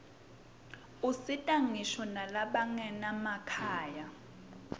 usita ngisho nalabanganamakhaya